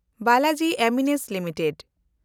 Balaji Amines limited